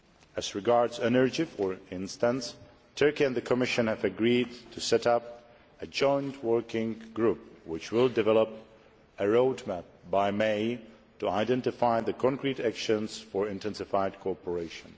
As regards energy for instance, Turkey and the Commission have agreed to set up a joint working group, which will develop a road map by May to identify concrete actions for intensified cooperation.